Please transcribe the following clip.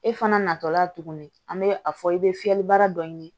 E fana natɔ la tuguni an bɛ a fɔ i bɛ fiyɛli baara dɔ ɲini